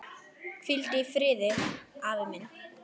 Hvíldu í friði, afi minn.